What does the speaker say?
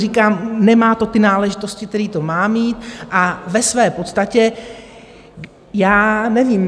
Říkám, nemá to ty náležitosti, které to má mít, a ve své podstatě já nevím.